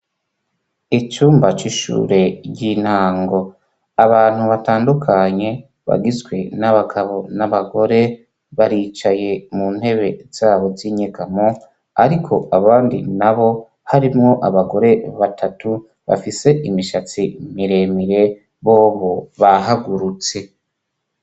Icumba c'ishure ry'intango ,abantu batandukanye bagizwe n'abagabo n'abagore ,baricaye mu ntebe zabo z'inyegamo, ariko abandi na bo harimwo abagore batatu, bafise imishatsi miremire, bobo bahagurutse.